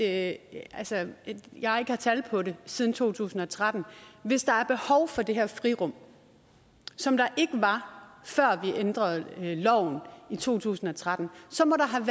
at jeg ikke har tal på det siden 2013 hvis der er behov for det her frirum som der ikke var før vi ændrede loven i to tusind og tretten så må der have